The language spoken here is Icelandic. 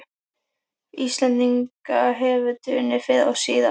Íslendinga hefur dunið fyrr og síðar.